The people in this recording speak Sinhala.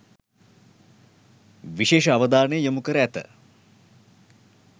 විශේෂ අවධානය යොමු කර ඇත.